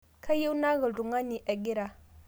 Kayieu naaku ltung'ani egira